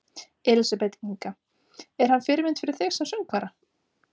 Elísabet Inga: Er hann fyrirmynd fyrir þig sem söngvara?